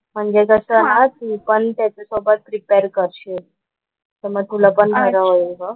म्हणजे कसं ना तू पण त्याच्या सोबत प्रिपेअर करशील तर मग तुला पण बरं होईल ग. चालेल ना हा चालेल चालेल कर मला पण